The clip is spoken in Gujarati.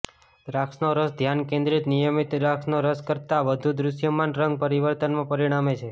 દ્રાક્ષનો રસ ધ્યાન કેન્દ્રિત નિયમિત દ્રાક્ષનો રસ કરતાં વધુ દૃશ્યમાન રંગ પરિવર્તનમાં પરિણમે છે